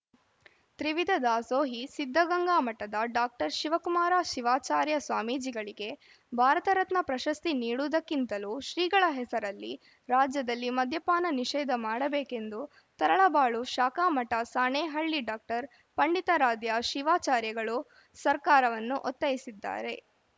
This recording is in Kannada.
ತ್ರಿವಿಧ ದಾಸೋಹಿ ಸಿದ್ದಗಂಗಾ ಮಠದ ಡಾಕ್ಟರ್ ಶಿವಕುಮಾರ ಶಿವಾಚಾರ್ಯ ಸ್ವಾಮೀಜಿಗಳಿಗೆ ಭಾರತ ರತ್ನ ಪ್ರಶಸ್ತಿ ನೀಡುವುದಕ್ಕಿಂತಲೂ ಶ್ರೀಗಳ ಹೆಸರಲ್ಲಿ ರಾಜ್ಯದಲ್ಲಿ ಮದ್ಯಪಾನ ನಿಷೇಧ ಮಾಡಬೇಕೆಂದು ತರಳಬಾಳು ಶಾಖಾಮಠ ಸಾಣೇಹಳ್ಳಿ ಡಾಕ್ಟರ್ ಪಂಡಿತಾರಾಧ್ಯ ಶಿವಾಚಾರ್ಯ ಗಳು ಸರ್ಕಾರವನ್ನು ಒತ್ತಾಯಿಸಿದ್ದಾರೆ